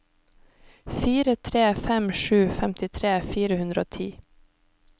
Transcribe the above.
fire tre fem sju femtitre fire hundre og ti